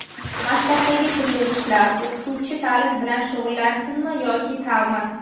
Maktabdagi pul yig‘ishlar: O‘qituvchi ta’lim bilan shug‘ullansinmi yoki ta’mir?.